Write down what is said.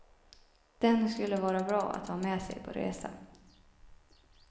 Den skulle vara bra att ha med sig på resa.